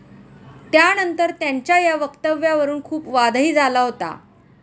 त्यानंतर त्यांच्या या वक्तव्यावरून खूप वादही झाला होता.